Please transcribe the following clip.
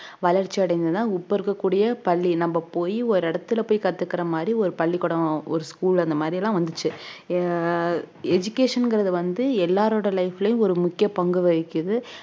வளர்ச்சி அடைந்தது தான் இப்ப இருக்கக் கூடிய பள்ளி நம்ம போயி ஒரு இடத்துல போயி கத்துக்குற மாதிரி ஒரு பள்ளிக்கூடம் ஒரு school அந்த மாதிரி எல்லாம் வந்துச்சு அஹ் education ங்கிறது வந்து எல்லாரோட life லயும் ஒரு முக்கிய பங்கு வகிக்குது